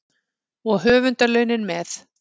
Og höfundarlaunin með.